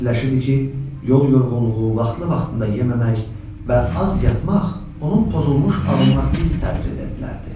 Fikirləşirdi ki, yol yorğunluğu, vaxtlı-vaxtında yeməmək və az yatmaq onun pozulmuş ağlına pis təsir edə bilərdi.